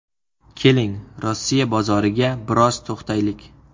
Keling, Rossiya bozoriga biroz to‘xtaylik.